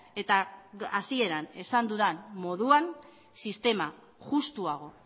eta hasieran esan dudan moduan sistema justuago